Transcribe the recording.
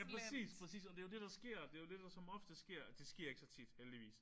Ja præcis præcis. Og det er jo det der sker. Det er jo det der som oftest sker. Det sker ikke så tit heldigvis